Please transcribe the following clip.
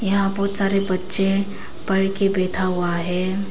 यहां बहुत सारे बच्चे पढ़ के बैठा हुआ है।